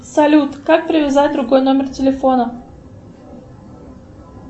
салют как привязать другой номер телефона